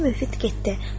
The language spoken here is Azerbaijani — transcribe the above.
Xacə müfid getdi.